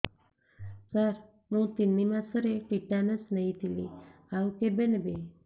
ସାର ମୁ ତିନି ମାସରେ ଟିଟାନସ ନେଇଥିଲି ଆଉ କେବେ ନେବି